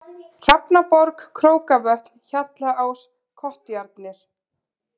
Hrafnaborg, Krókavötn, Hjallaás, Kottjarnir